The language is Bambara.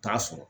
T'a sɔrɔ